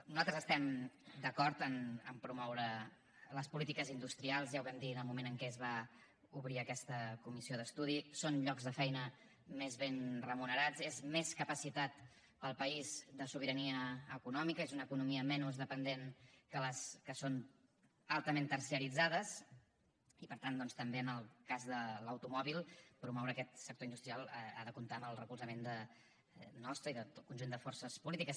nosaltres estem d’acord en promoure les polítiques industrials ja ho vam dir en el moment en què es va obrir aquesta comissió d’estudi són llocs de feina més ben remunerats és més capacitat per al país de sobirania econòmica és una economia menys dependent que les que són altament terciaritzades i per tant doncs també en el cas de l’automòbil promoure aquest sector industrial ha de comptar amb el recolzament nostre i del conjunt de forces polítiques